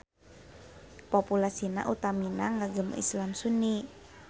Populasina utamina ngagem Islam Sunni.